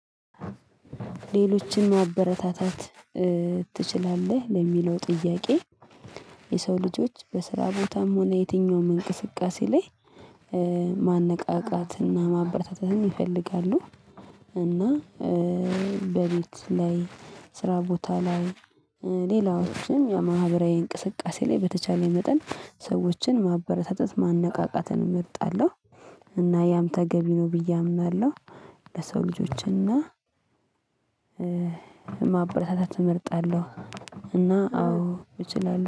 ሌሎችን ማበረታታት ትችላለህ? ለሚለው ጥያቄ የሰው ልጆች በስራ ቦታም ሆነ የትኛውም እንቅስቃሴ ላይ ማነቃቃትና ማበረታታትም ይፈልጋሉ፣ እና በቤት ላይ፣ ስራ ቦታ ላይ ሌላዎችን የማህበራዊ እንቅስቃሴ ላይ በተቻለ መጠን ሰዎችን ማበረታታት ማነቃቃትን እመርጣለሁ። እና ያም ተገቢ ነው፣ ብዬ አምናለሁ ለሰው ልጆችን እና ማበረታታት እመርጣለሁ እና አዎ እችላለሁ።